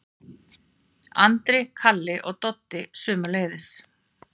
Andri, Kalli og Doddi sömuleiðis.